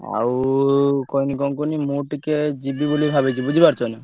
ଆଉ କହିନି କଣ କୁହନୀ ମୁଁ ଟିକେ ଯିବି ବୋଲି ଭାବୁଛି ବୁଝି ପାରୁଛ ନା।